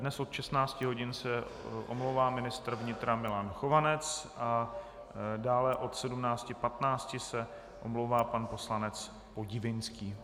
Dnes od 16 hodin se omlouvá ministr vnitra Milan Chovanec a dále od 17.15 se omlouvá pan poslanec Podivínský.